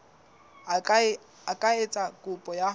a ka etsa kopo ya